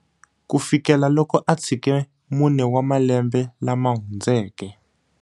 Kufikela loko a tshike mune wa malembe lama hundzeke.